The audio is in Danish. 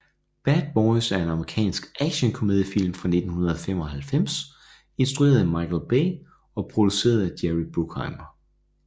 Bad Boys er en amerikansk actionkomediefilm fra 1995 instrueret af Michael Bay og produceret af Jerry Bruckheimer